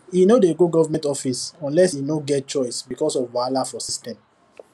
e no dey go government office unless e no get choice because of wahala for system